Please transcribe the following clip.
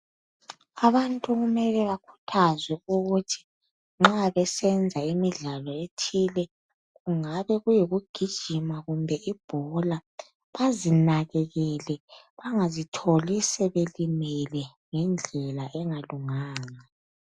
Abantu kumele bakhuthazwe ukuthi nxa besenza imidlalo ethile kungabe kuyikugijima kumbe ibhola bazinakekele bangazitholi sebelimele ngendlela engalunganga.